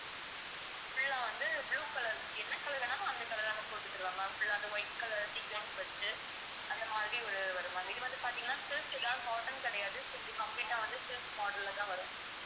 full ஆ வந்து blue color என்ன color வேணாலும் அந்த color ஆ அவங்க போட்டுட்டு தருவாங்க full ஆ அந்த white color வச்சு அந்த மாதிரி ஒரு வரும் இது வந்து பாத்தீங்கன்னா silk தான் cotton கிடையாது so இப்படி complete ஆ வந்து silk model லதான் வரும்